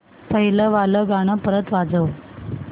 पहिलं वालं गाणं परत वाजव